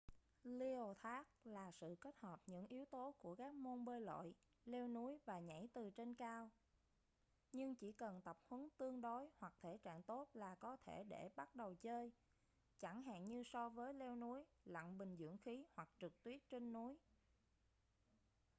leo thác là sự kết hợp những yếu tố của các môn bơi lội leo núi và nhảy từ trên cao--nhưng chỉ cần tập huấn tương đối hoặc thể trạng tốt là có thể để bắt đầu chơi chẳng hạn như so với leo núi lặn bình dưỡng khí hoặc trượt tuyết trên núi